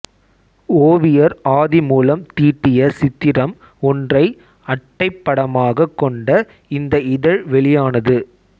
ஓவியர் ஆதிமூலம் தீட்டிய சித்திரம் ஒன்றை அட்டைப் படமாகக் கொண்ட இந்த இதழ் வெளியானது